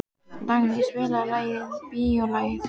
Dagný, spilaðu lagið „Bíólagið“.